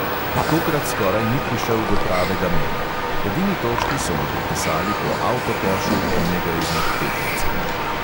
Tokrat skoraj ni prišel do pravega meta, edini točki so mu pripisali po avtokošu enega izmed tekmecev.